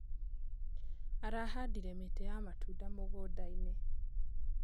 Arahandire mĩtĩ ya matunda mũgũndainĩ.